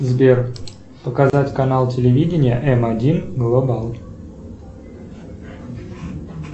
сбер показать канал телевидения м один глобал